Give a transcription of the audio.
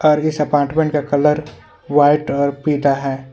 और इस अपार्टमेंट का कलर व्हाइट और पीला है।